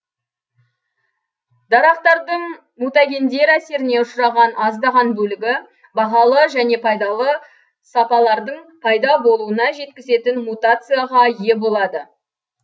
дарақтардың мутагендер әсеріне ұшыраған аздаған бөлігі бағалы және пайдалы сапалардың пайда болуына жеткізетін мутацияға ие болады